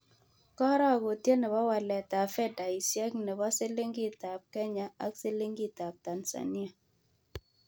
Karogutiet ne po waletap fedaisiek ne po siliingitap Kenya ak silingiitap tanzania